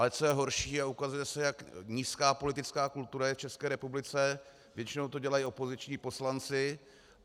Ale co je horší, a ukazuje se, jak nízká politická kultura je v České republice, většinou to dělají opoziční poslanci.